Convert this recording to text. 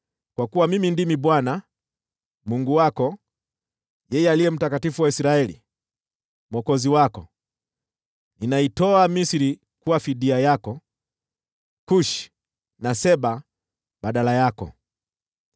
Kwa kuwa Mimi ndimi Bwana , Mungu wako, yeye Aliye Mtakatifu wa Israeli, Mwokozi wako. Ninaitoa Misri kuwa fidia yako, Kushi na Seba badala yako.